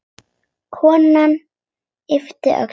Konan yppti öxlum.